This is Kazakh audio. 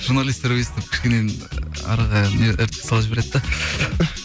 журналисттер өйстіп кішкене араға не іріткі салып жібереді де